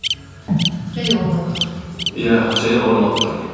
және орын алып тұр иә және орын алып тұр